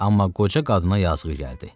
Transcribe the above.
Amma qoca qadına yazığı gəldi.